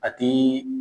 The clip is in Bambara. A ti